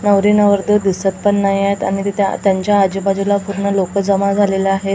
नवरी नवरदेव दिसत पण नाहीयेत आणि तिथे त्यांच्या आजूबाजूला पूर्ण लोक जमा झालेले आहेत.